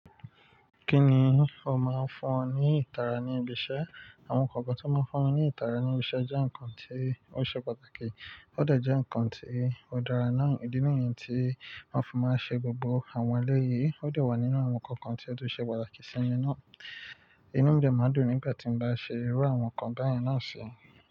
Kí ni ó máa ń fún ọ ní ìtara ní ibi iṣẹ́? Àwọn nkankan tí ó máa ń fúnmi ní ìtara ní ibi iṣẹ́ jẹ́ nǹkan tí ó ṣe pàtàkì. Ó dẹ̀ jẹ́ nǹkan tí ó dára náà. Ìdí nìyẹn tí wọ́n fi máa ń ṣe gbogbo àwọn eléyìí. Ó dẹ̀ wà nínú àwọn nkankan tí ó tún ṣe pàtàkì sí mi náà. Inú mi dẹ̀ máa dùn nígbà tí mo bá ṣe irú àwọn nǹkan báyẹn náà si.